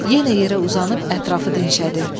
Yenə yerə uzanıb ətrafı dinşədi.